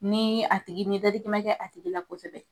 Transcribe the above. Ni a tigi, ni dadigi ma kɛ a tigi la kosɛbɛ.